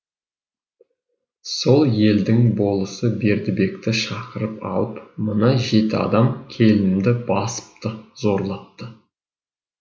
сол елдің болысы бердібекті шақыртып алып мына жеті адам келінімді басыпты зорлапты